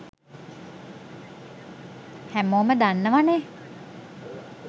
හැමෝම දන්නවනේ